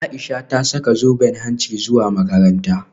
Aisha ta saka zoben hanci zuwa makaranta